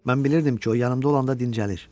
Mən bilirdim ki, o yanımda olanda dincəlir.